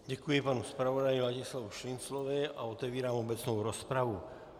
Děkuji panu zpravodaji Ladislavu Šinclovi a otevírám obecnou rozpravu.